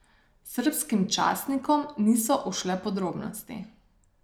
Srbskim časnikom niso ušle podrobnosti.